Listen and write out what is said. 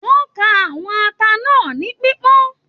Wọn ká àwọn ata náà ni pipọn.